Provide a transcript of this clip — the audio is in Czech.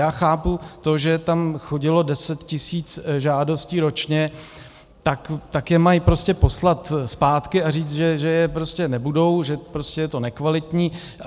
Já chápu to, že tam chodilo deset tisíc žádostí ročně, tak je mají prostě poslat zpátky a říct, že je prostě nebudou, že prostě je to nekvalitní.